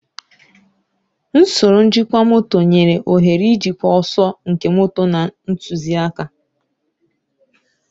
Usoro njikwa moto nyere ohere ijikwa ọsọ nke moto na ntụzịaka.